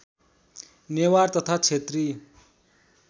नेवार तथा क्षेत्री